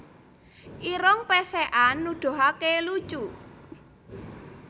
Irung Pèsèkan Nuduhaké lucu